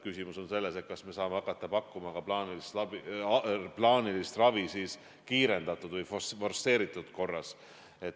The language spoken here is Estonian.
Küsimus on selles, kas me saame hakata pakkuma plaanilist ravi kiirendatud või forsseeritud korras.